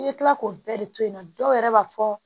I bɛ tila k'o bɛɛ de to yen nɔ dɔw yɛrɛ b'a fɔ